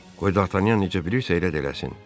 Qoy Dartanyan necə bilirsə elə də eləsin.